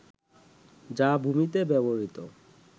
যা ভূমিতে ব্যবহৃত